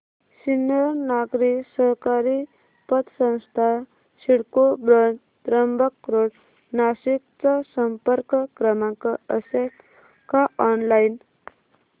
सिन्नर नागरी सहकारी पतसंस्था सिडको ब्रांच त्र्यंबक रोड नाशिक चा संपर्क क्रमांक असेल का ऑनलाइन